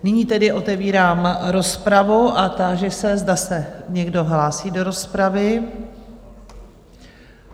Nyní tedy otevírám rozpravu a táži se, zda se někdo hlásí do rozpravy?